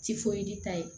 ta ye